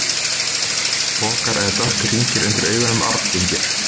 Oftast eru pokar eða dökkir hringir undir augunum arfgengir.